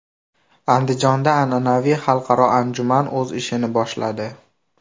Andijonda an’anaviy xalqaro anjuman o‘z ishini boshladi.